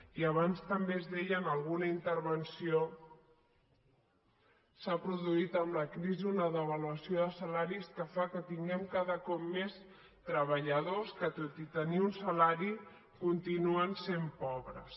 i abans també es deia en alguna intervenció s’ha produït amb la crisi una devaluació de salaris que fa que tinguem cada cop més treballadors que tot i tenir un salari continuen sent pobres